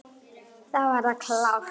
Þá er það klárt.